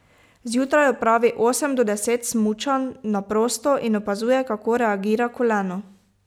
Zjutraj opravi osem do deset smučanj na prosto in opazuje, kako reagira koleno.